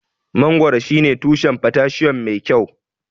Mangoro shine tushen potassium mai kyau.